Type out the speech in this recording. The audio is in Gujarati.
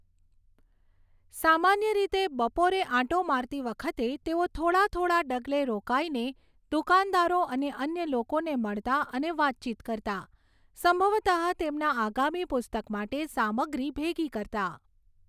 સામાન્ય રીતે બપોરે આંટો મારતી વખતે તેઓ થોડા થોડા ડગલે રોકાઈને દુકાનદારો અને અન્ય લોકોને મળતા અને વાતચીત કરતા, સંભવતઃ તેમના આગામી પુસ્તક માટે સામગ્રી ભેગી કરતા.